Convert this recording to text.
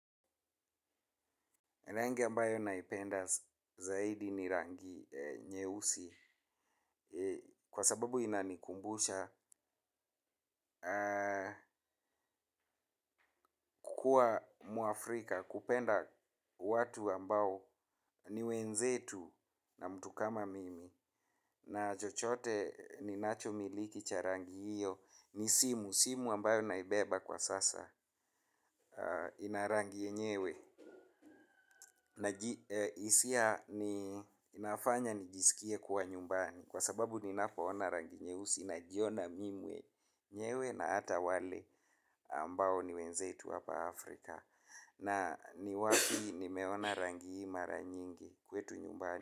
Rangi ambayo naipenda zaidi ni rangi nyeusi kwa sababu inanikumbusha kukuwa mwafrika kupenda watu ambao ni wenzetu na mtu kama mimi na chochote ninachomiliki cha rangi hiyo ni simu. Simu ambayo naibeba kwa sasa, ina rangi yenyewe, hisia inafanya nijisikie kwa nyumbani, kwa sababu ninapoona rangi nyeusi najiona mimi mwenyewe na hata wale ambao ni wenzetu hapa Afrika. Na ni wapi nimeona rangi hii mara nyingi kwetu nyumbani.